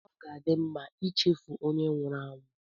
Ọ ga-adị mma ichefu onye nwụrụ anwụ